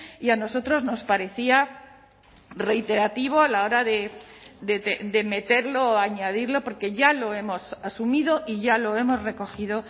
y a nosotros nos parecía reiterativo a la hora de meterlo o añadirlo porque ya lo hemos asumido y ya lo hemos recogido